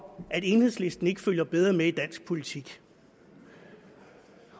at enhedslisten ikke følger bedre med i dansk politik